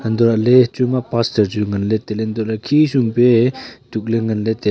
antolaley achu ma pastor chu nganle tailey antoley khesom pe tuk le nganle te--